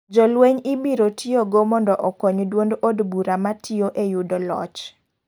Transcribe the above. Jolweny ibiro tiyo go mondo okony duond ob bura matiyo e yudo loch.